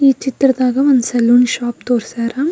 ಈ ಚಿತ್ರದಾಗ ಒಂದು ಸಲೂನ್ ಶಾಪ್ ತೋರ್ಸ್ಯಾರ.